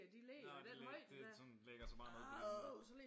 Nå de lægger det sådan lægger sig bare ned på dine